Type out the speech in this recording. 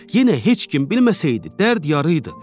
Yenə heç kim bilməsəydi, dərd yarı idi.